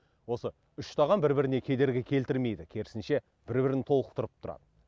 осы үштаған бір біріне кедергі келтірмейді керісінше бір бірін толықтырып тұрады